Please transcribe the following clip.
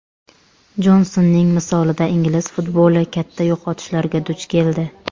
Jonsonning misolida ingliz futboli katta yo‘qotishlarga duch keldi.